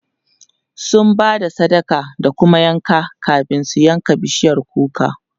sun Bada sadaka da kuma yanka kamin su yanka bishiyar kukar